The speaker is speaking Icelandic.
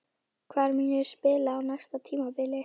Hvar mun ég spila á næsta tímabili?